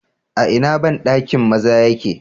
A ina bandakin maza yake?